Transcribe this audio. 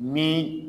Ni